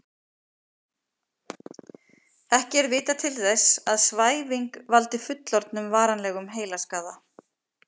Ekki er vitað til þess að svæfing valdi fullorðnum varanlegum heilaskaða.